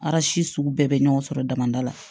sugu bɛɛ bɛ ɲɔgɔn sɔrɔ damada la